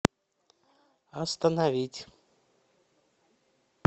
остановить